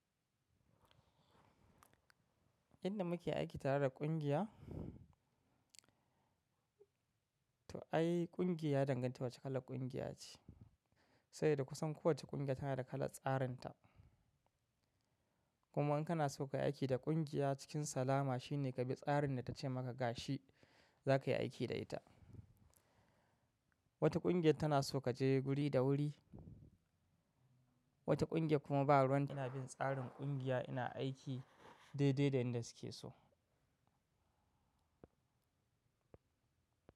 Inda muke aiki tare da kungiya, to ai ƙungiya yadanganta wace ƙala ƙungiya ce, sabi da kusan kowacce ƙungiya tana da kala tsarinta. Kuma in kana so ka yi aiki da ƙungiya cikin salama shine ka bi tsarin da ta ce maka ga shi za ka yi aiki da ita. Wata ƙungiya tana so ka je guri da wuri, wata ƙungiya kuma ba ruwan ta. Ina bin tsarin ƙungiya ina aiki daidai da yanda su ke so.